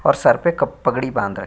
और सर पे कप पगड़ी बाँध र --